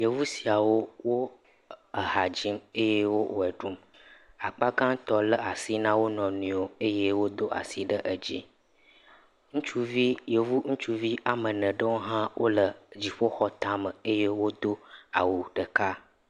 Yevu siawo hadzim eye woɣeɖum akpagãtɔ le asi na wonɔnɔewo eye wodo asi ɖe dzi yevu ŋutsuviwo ame ene aɖewo ha le dziƒoxɔ tame eye wodo awu ɖeka